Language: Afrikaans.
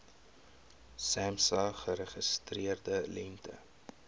samsa geregistreerde lengte